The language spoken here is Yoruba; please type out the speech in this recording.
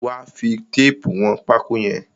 Wà á fi téépù wọn pákó yẹn!